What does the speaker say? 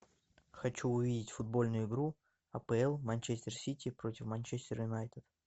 хочу увидеть футбольную игру апл манчестер сити против манчестер юнайтед